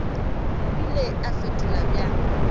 o ile a fetola bjang